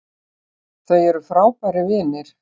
Þau eru frábærir vinir